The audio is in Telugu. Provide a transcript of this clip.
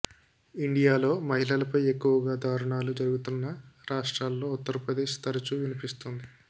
ఇండియాలో మహిళలపై ఎక్కువగా దారుణాలు జరుగుతున్న రాష్ట్రాల్లో ఉత్తరప్రదేశ్ తరచూ వినిపిస్తోంది